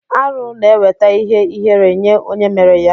Arụ na eweta ihe ihere nye onye mere ya.